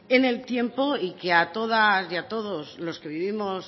en el tiempo y que a todas y a todos los que vivimos